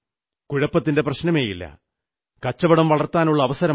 കുഴപ്പത്തിന്റെ പ്രശ്നമേയില്ല കച്ചവടം വളർത്താനുള്ള അവസരമാണ്